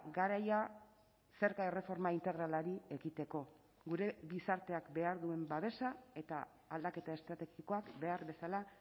garaia zerga erreforma integralari ekiteko gure gizarteak behar duen babesa eta aldaketa estrategikoak behar bezala